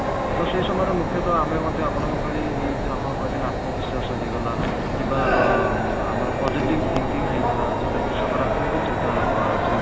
ତ ସେଇ ସମୟରେ ମୁଖ୍ୟତଃ ଆମେ ମଧ୍ୟ ଆପଣଙ୍କ ଭଳି ଏଇ ଯଉ ଆପଣ କହିଦେଲେ ଆତ୍ମବିଶ୍ଵାସ ହେଇଗଲା କିମ୍ବା ଅ ଆମର positive thinking ହେଇଗଲା ଯଉଟାକି ସକାରାତ୍ମକ ଚିନ୍ତାଧାରା କୁହାହାଉଛି